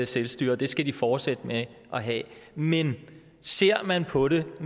selvstyre og det skal de fortsætte med at have men ser man på det